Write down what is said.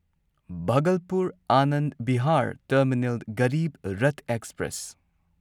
Bhagalpur Anand Vihar Terminal Garib Rath express